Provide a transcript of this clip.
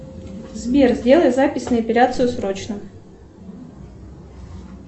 сбер сделай запись на эпиляцию срочно